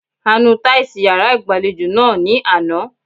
A nu táìsì yàrá ìgbàlejò náà ní àná.